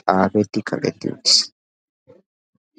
xaafeti kaqeti uttiis.